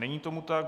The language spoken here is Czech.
Není tomu tak.